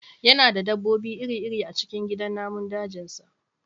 Yana da dabbobi iri-iri a cikin gidan namun dajinsa